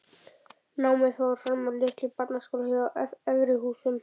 Námið fór fram í litlum barnaskóla hjá Efri-Húsum.